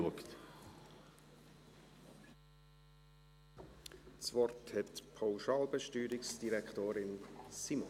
Das Wort hat die Pauschalbesteuerungsdirektorin Simon.